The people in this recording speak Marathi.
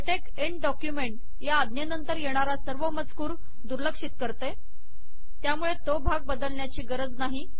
लेटेक एन्ड डॉक्युमेंट या आज्ञेनंतर येणारा सर्व मजकूर दुर्लक्षित करते त्यामुळे तो भाग बदलण्याची गरज नाही